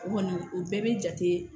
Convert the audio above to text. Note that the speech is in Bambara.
O kɔni o bɛɛ bɛ jate